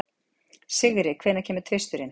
Sigri, hvenær kemur tvisturinn?